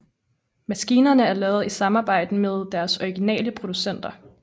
Maskinerne er lavet i samarbejde med deres originale producenter